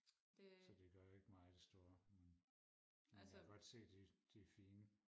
så det gør ikke mig det store men men jeg kan godt se de de er fine